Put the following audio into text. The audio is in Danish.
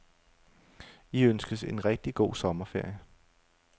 I ønskes en rigtig god sommerferie.